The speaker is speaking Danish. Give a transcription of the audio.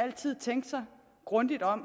altid tænke sig grundigt om